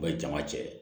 jama cɛ